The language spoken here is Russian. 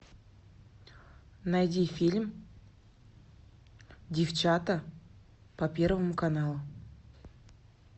найди фильм девчата по первому каналу